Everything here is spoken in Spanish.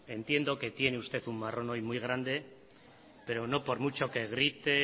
entiendo que tiene usted un marrón hoy muy grande pero no por mucho que grite